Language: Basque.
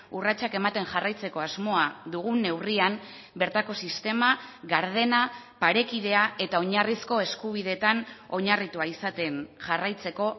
urratsak ematen jarraitzeko asmoa dugun neurrian bertako sistema gardena parekidea eta oinarrizko eskubideetan oinarritua izaten jarraitzeko